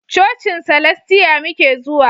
Cocin salastiya muke zuwa